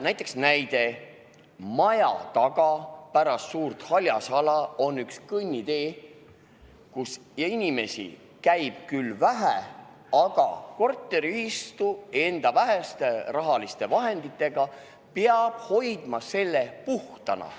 Näide Lasnamäelt: maja taga pärast suurt haljasala on üks kõnnitee, kus inimesi käib küll vähe, aga korteriühistu enda väheste rahaliste vahenditega peab hoidma selle puhtana.